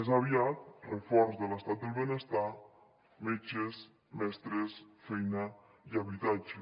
més aviat reforç de l’estat del benestar metges mestres feina i habitatge